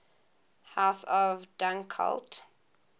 house of dunkeld